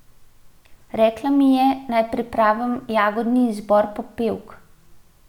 Rekla mi je, naj pripravim jagodni izbor popevk.